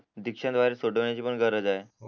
दिक्शान द्वारे छोट होण्याची पण गरज आहे